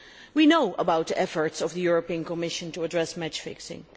We know about the efforts of the European Commission to address match fixing.